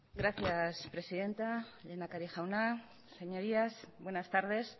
gracias presidenta lehendakari jauna señorías buenas tardes